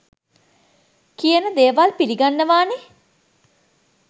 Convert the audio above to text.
කියන දේවල් පිලිගන්නවානේ